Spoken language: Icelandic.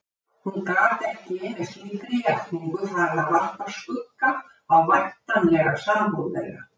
Hún gat ekki með slíkri játningu farið að varpa skugga á væntanlega sambúð þeirra.